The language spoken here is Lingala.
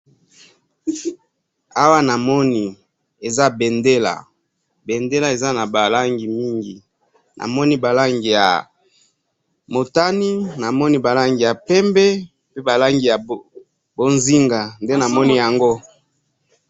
awa namoni eza mbendela mbendela eza na ba langi mingi namoni ba langi ya motani, namoni ba langi ya pembe pe ba langi ya pozinga nde namoni yango